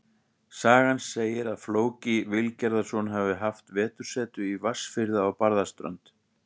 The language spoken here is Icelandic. Sagan segir að Flóki Vilgerðarson hafi haft vetursetu í Vatnsfirði á Barðaströnd.